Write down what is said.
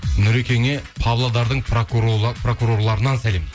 нұрекеңе павлодардың пракурорларынан сәлем